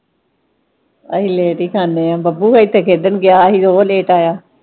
ਅਹੀ ਲੇਟ ਹੀ ਖਾਨੇ ਆ, ਬੱਬੂ ਇਥੇ ਖੇਡਣ ਗਿਆ ਹੀ ਉਹ ਲੇਟ ਆਇਆ।